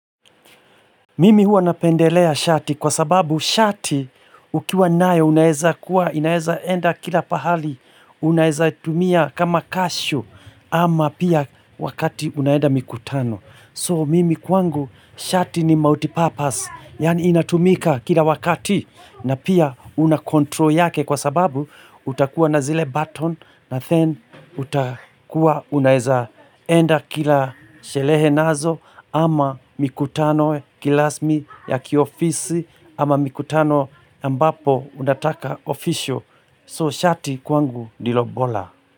Mimi huwa napendelea shati kwa sababu shati ukiwa nae unaeza kuwa, unaeza enda kila pahali, unaezatumia kama kashu ama pia wakati unaenda mikutano. So mimi kwangu shati ni multi purpose, yani inatumika kila wakati na pia unacontrol yake kwa sababu utakuwa na zile button na then utakuwa unaeza enda kila shelehe nazo ama mikutano kilasmi ya kiofisi ama mikutano ambapo unataka ofisho. So shati kwangu ndilo bora.